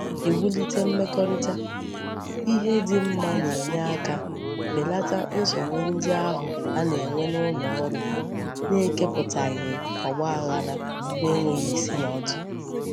Iwulite mmekorita ihe di mma na-enye aka belata nsogbu ndi ahu a na-enwe n'uloru n'ekeputaghi ogbaghara n'enweghi isi na odu.